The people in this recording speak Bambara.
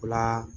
O la